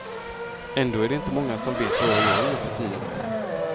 Ändå är det inte många som vet vad jag gör nuförtiden.